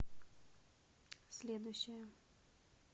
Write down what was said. следующая